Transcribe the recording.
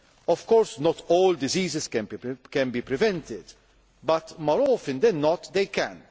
diseases. Of course, not all diseases can be prevented, but more often than not